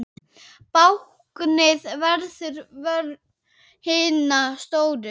Báknið verður vörn hinna stóru.